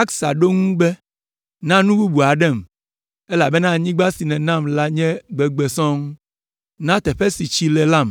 Axsa ɖo eŋu be, “Na nu bubu aɖem, elabena anyigba si nènam la nye gbegbe sɔŋ! Na teƒe si tsi le lam.”